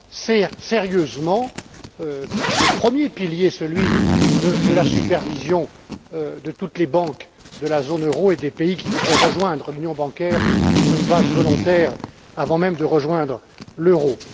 et sérieusement le premier pilier, celui de la supervision de toutes les banques de la zone euro et des pays qui voudraient rejoindre l'union bancaire sur une base volontaire avant même de rejoindre l'euro.